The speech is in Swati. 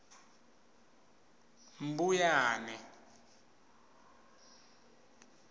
mbuyane